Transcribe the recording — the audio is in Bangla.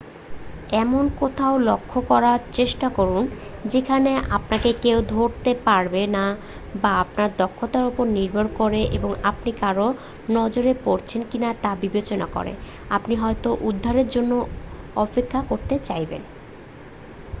এমন কোথাও লক্ষ্য করার চেষ্টা করুন যেখানে আপনাকে কেউ ধরতে পারবে না বা আপনার দক্ষতার উপর নির্ভর করে এবং আপনি কারোর নজরে পড়েছেন কিনা তা বিবেচনা করে আপনি হয়তো উদ্ধারের জন্য অপেক্ষা করতে চাইবেন